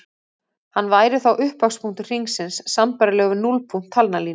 Hann væri þá upphafspunktur hringsins sambærilegur við núllpunkt talnalínu.